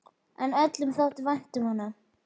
En öllum þótti vænt um hann.